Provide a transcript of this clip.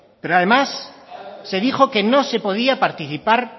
pero además se dijo que no se podía participar